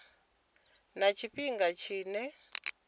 na tshifhinga tshine tsha ḓo